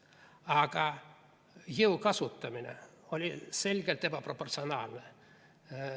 Aga jõu kasutamine oli selgelt ebaproportsionaalne.